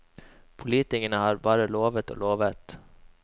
Politikerne har bare lovet og lovet.